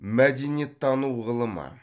мәдениеттану ғылымы